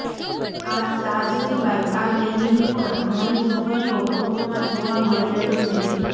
આ ચાર સિવાય આ ગેંગની પણ ઘણી છોકરીઓ ફોટોમાં જોવા મળી રહી છે